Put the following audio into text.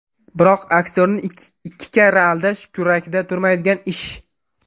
Biroq aktyorni ikki karra aldash kurakda turmaydigan ish.